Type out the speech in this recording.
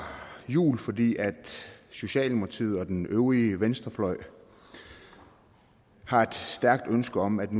jul fordi socialdemokratiet og den øvrige venstrefløj har et stærkt ønske om at